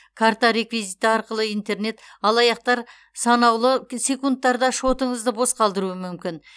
карта реквизиті арқылы интернет алаяқтар санаулы секундтарда шотыңызды бос қалдыруы мүмкін